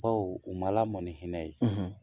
Bawo u ma lamɔ ni hinɛ ye